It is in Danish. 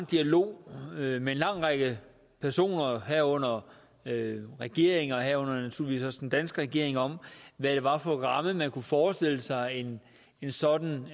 dialog med en lang række personer herunder regeringer herunder igen naturligvis også den danske regering om hvad det var for en ramme man kunne forestille sig en sådan